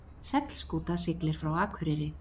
Seglskúta siglir frá Akureyri